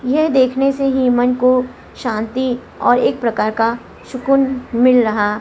यह देखने से ही मन को शान्ति और एक प्रकार का सुकून मिल रहा--